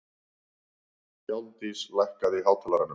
Hjálmdís, lækkaðu í hátalaranum.